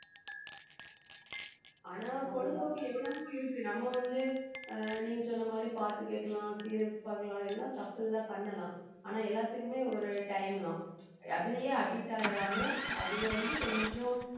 ஆனா பொழுதுபோக்கு எவ்வளவோ இருக்கு நம்ம வந்து ஆஹ் நீங்க சொன்ன மாதிரி பாட்டு கேக்கலாம் serials பாக்கலாம் எல்லாம் தப்பில்லை பண்ணலாம் ஆனா எல்லாத்துக்குமே ஒரு time தான் அதிலயே addict ஆயிறாம அதுல வந்து கொஞ்சம்